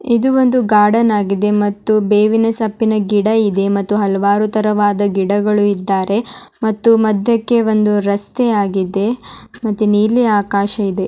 ಇದು ಒಂದು ಗಾರ್ಡನ್ ಆಗಿದೆ ಮತ್ತು ಬೇವಿನ ಸೊಪ್ಪಿನ ಗಿಡವಿದೆ ಮತ್ತು ಹಲವಾರು ತರತರವಾದ ಗಿಡಗಳು ಇದ್ದಾರೆ ಮತ್ತು ಮಧ್ಯಕ್ಕೆ ಒಂದು ರಸ್ತೆ ಆಗಿದೆ ಮತ್ತೆ ನೀಲಿ ಆಕಾಶ ಇದೆ.